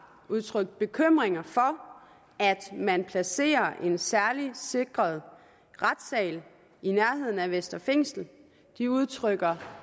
udtrykt bekymring for at man placerer en særligt sikret retssal i nærheden af vestre fængsel de udtrykker